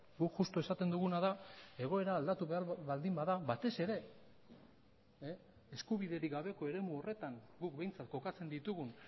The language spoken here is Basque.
guk justu esaten duguna da egoera aldatu behar baldin bada batez ere eskubiderik gabeko eremu horretan guk behintzat kokatzen ditugun